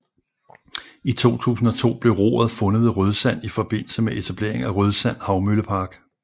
I 2002 blev roret fundet ved Rødsand i forbindelse med etablering af Rødsand Havmøllepark